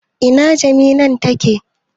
Ina jiminan take?